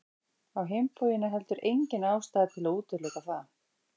Á hinn bóginn er heldur engin ástæða til að útiloka það.